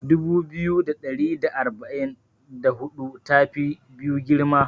Dubu biyu da ɗari da arba'in da hudu ta fi biyu girma.